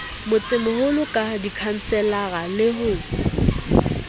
motsemoholo ka dikhanselara le ho